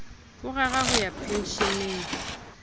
o rera ho ya pensheneng